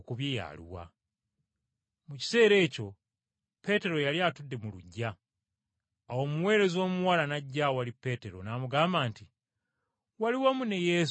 Mu kiseera ekyo Peetero yali atudde mu luggya. Awo omuweereza omuwala n’ajja awali Peetero n’amugamba nti, “Wali wamu ne Yesu, ow’e Ggaliraaya.”